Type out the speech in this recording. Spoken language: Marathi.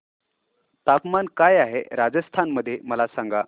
तापमान काय आहे राजस्थान मध्ये मला सांगा